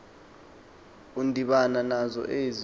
udibana nazo ezi